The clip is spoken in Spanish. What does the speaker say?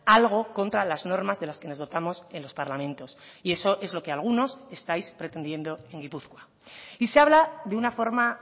algo contra las normas de las que nos dotamos en los parlamentos y eso es lo que algunos estáis pretendiendo en gipuzkoa y se habla de una forma